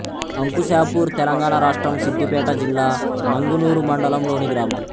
అంకుశాపూర్ తెలంగాణ రాష్ట్రం సిద్ధిపేట జిల్లా నంగునూరు మండలంలోని గ్రామం